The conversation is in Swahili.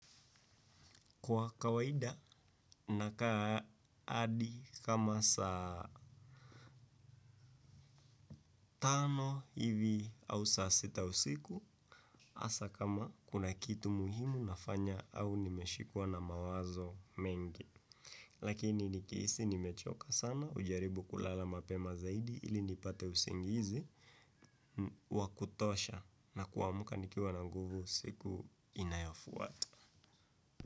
Kwa kawaida nakaa hadi kama saa tano hivi au saa sita usiku, hasa kama kuna kitu muhimu nafanya au nimeshikwa na mawazo mengi. Lakini nikihisi nimechoka sana hujaribu kulala mapema zaidi ili nipate usingizi wa kutosha na kuamka nikiwa na nguvu siku inayofuata.